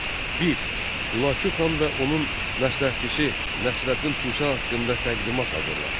Bir, Hülaki Xanın və onun məsləhətçisi Nəsrəddin Tus haqqında təqdimat hazırla.